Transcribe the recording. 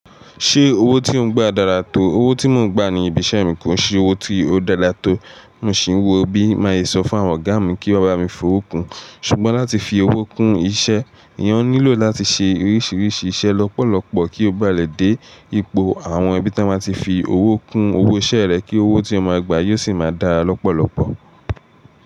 Ṣé owó tí ò ń gba dára tó? Owó tí mò ń gba ní ibi iṣẹ́ mi kò ń ṣe owó tí ó dára tó, mo sì ń wò ó bí màá ye sọ fún àwọn ọ̀gá mi kí wọ́n bá mi fowo kùn. Ṣùgbọ́n láti fi owó kún iṣẹ́, èèyàn nílò láti ṣe oríṣiríṣi iṣẹ́ lọ́pọ̀lọpọ̀ kí ó ba lè dé ipò àwọn ibi tí wọ́n máa tí fi owó kún owó ṣẹ́ rẹ̀ kí owó tí ó má gba yóò sì máa dára lọ́pọ̀lọpọ̀.